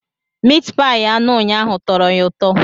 Mitpayi anụ ụnyahụ tọrọ ya ụtọ.